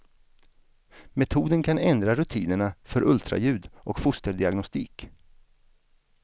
Metoden kan ändra rutinerna för ultraljud och fosterdiagnostik.